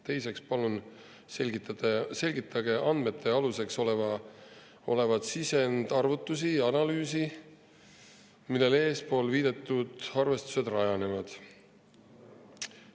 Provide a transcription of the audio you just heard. Teiseks palume selgitada andmete aluseks olevaid sisendarvutusi ja analüüsi, millel eespool viidatud arvestused rajanevad.